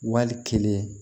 Wali kelen